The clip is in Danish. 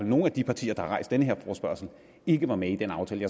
nogle af de partier der har rejst den her forespørgsel ikke var med i den aftale